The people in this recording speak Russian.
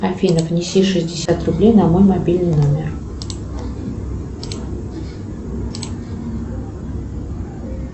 афина внеси шестьдесят рублей на мой мобильный номер